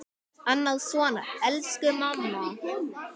Annað svona: Elsku mamma!